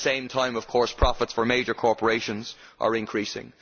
At the same time, of course, profits for major corporations are increasing.